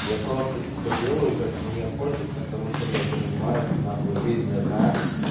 я просто типа делаю как мне хочется потому что блядь я понимаю что на хуй жизнь одна